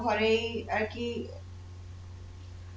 ঘরেই আর কি